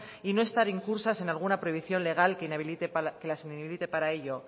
y no estar incursas en alguna prohibición legal que las inhabilite para ello